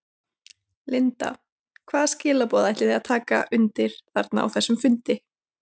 Linda: Hvaða skilaboð ætlið þið að taka undir þarna á þessum fundi?